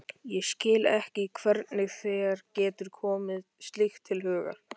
Ég skil ekki hvernig þér getur komið slíkt til hugar!